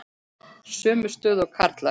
Sömu stöðu og karlar.